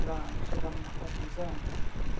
Para chegar em uma conclusão.